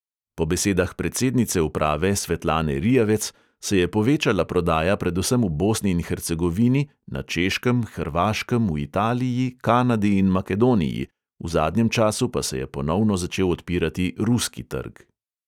Po besedah predsednice uprave svetlane rijavec se je povečala prodaja predvsem v bosni in hercegovini, na češkem, hrvaškem, v italiji, kanadi in makedoniji, v zadnjem času pa se je ponovno začel odpirati ruski trg.